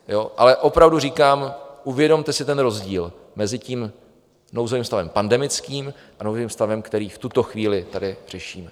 Ale opravdu říkám, uvědomte si ten rozdíl mezi tím nouzovým stavem pandemickým a nouzovým stavem, který v tuto chvíli tady řešíme.